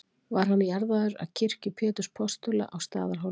Var hann jarðaður að kirkju Péturs postula á Staðarhóli.